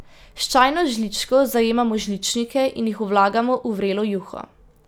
S čajno žličko zajemamo žličnike in jih vlagamo v vrelo juho.